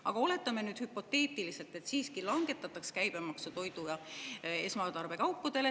Aga oletame nüüd hüpoteetiliselt, et siiski langetataks käibemaksu toidu- ja esmatarbekaupadele.